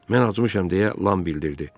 Mən acmışam, deyə Lam bildirdi.